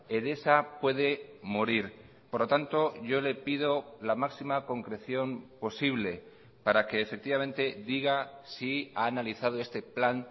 edesa puede morir por lo tanto yo le pido la máxima concreción posible para que efectivamente diga si ha analizado este plan